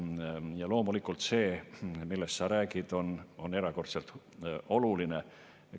Ja loomulikult see, millest sa räägid, on erakordselt oluline.